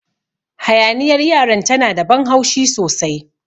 Hayaniyar yaran ta na da ban haushi sosai.